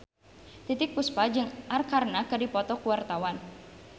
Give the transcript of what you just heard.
Titiek Puspa jeung Arkarna keur dipoto ku wartawan